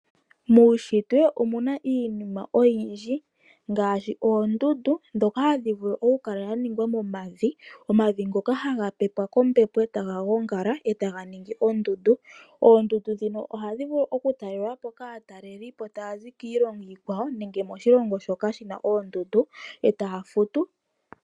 Muushitwe omuna iinima oyindji ngaashi oondundu dhoka hadhi vulu okukala dha ningwa momavi. Omavi ngoka haga pepwa kombepo e taga gongala, e taga ningi oondundu. Oondundu dhino ohadhi vulu okutalelwapo kaatalelipo taya zi kiilongo iikwawo, nenge kaantu mboka yeli moshilongo moka muna oondundu, e taya futu.